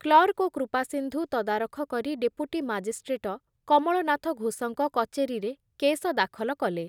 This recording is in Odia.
କ୍ଲର୍କ ଓ କୃପାସିନ୍ଧୁ ତଦାରଖ କରି ଡେପୁଟି ମାଜିଷ୍ଟ୍ରେଟ କମଳନାଥ ଘୋଷଙ୍କ କଚେରୀରେ କେସ ଦାଖଲ କଲେ ।